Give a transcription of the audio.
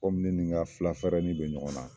kɔmin ne ni n ka fula fɛrɛni bɛ ɲɔgɔn na